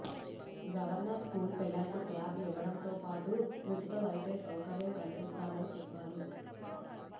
governor school పిల్లలకు tab ఇవ్వడంతో పాటు ఉచిత వైఫై సౌకర్యం కల్పిస్తామని చెప్పారు